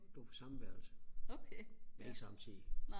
gå på samme værelse men ikke samtidigt